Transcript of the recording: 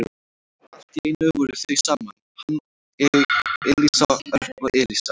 Og allt í einu voru þau saman, hann og Elísa, Örn og Elísa.